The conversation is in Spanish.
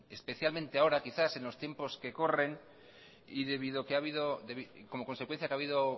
especialmente ahora quizás en los tiempos que corren y como consecuencia que ha habido